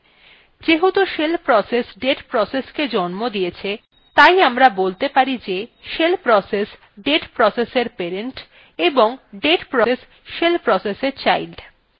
যেহেতু shell process date processকে জন্ম দিয়েছে তাই আমরা বলতে পারি যে shell process date processএর parent এবং date process shell processএর child